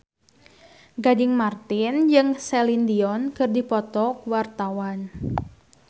Gading Marten jeung Celine Dion keur dipoto ku wartawan